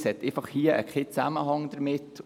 Dies hat keinen Zusammenhang damit.